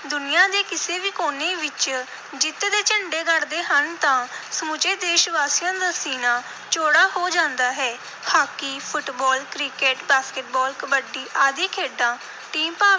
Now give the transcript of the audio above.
ਦੁਨੀਆ ਦੇ ਕਿਸੇ ਵੀ ਕੋਨੇ ਵਿਚ ਜਿੱਤ ਦੇ ਝੰਡੇ ਗੱਡਦੇ ਹਨ ਤਾਂ ਸਮੁੱਚੇ ਦੇਸ਼-ਵਾਸੀਆਂ ਦਾ ਸੀਨਾ ਚੌੜਾ ਹੋ ਜਾਂਦਾ ਹੈ। Hockey, football, cricket, basketball, kabaddi ਆਦਿ ਖੇਡਾਂ team ਭਾਵ